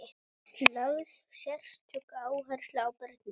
Lögð sérstök áhersla á börnin.